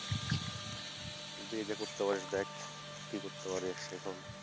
যদি এটা করতে পারিস দেখ, কি করতে পারিস এখন।